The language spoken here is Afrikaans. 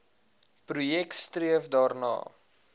projek streef daarna